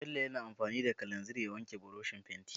Bello yana amfani da kalanzir ya wanke burushin fenti.